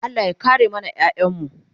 Allah ya kare mana ƴaƴanmu